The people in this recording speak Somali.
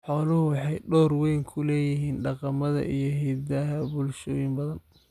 Xooluhu waxay door weyn ku leeyihiin dhaqamada iyo hiddaha bulshooyin badan.